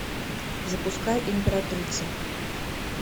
запускай императрица